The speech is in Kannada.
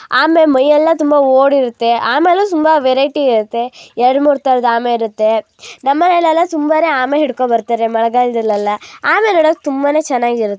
ಆಮೆ ಮೈಯೆಲ್ಲ ತುಂಬಾ ಓಡ್ ಇರುತ್ತೆ ಆಮೇಲೂ ತುಂಬಾ ವೆರೈಟಿ ಇರುತ್ತೆ ಎರಡು ಮೂರು ತರದ್ ಆಮೆ ಇರುತ್ತೆ ನಮ್ಮನೆಲ್ಲೆಲ್ಲಾ ತುಂಬಾ ಆಮೆ ಹಿಡ್ಕೋ ಬರ್ತಾರೆ ಮಳೆಗಾಲದಲ್ಲೆಲ್ಲ ಆಮೆ ನೋಡಕ್ಕೆ ತುಂಬಾನೇ ಚೆನ್ನಾಗಿರುತ್ತೆ